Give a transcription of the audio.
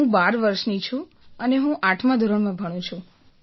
હું ૧૨ વર્ષની છું અને હું આઠમા ધોરણમાં ભણું છું